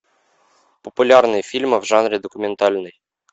популярные фильмы в жанре документальный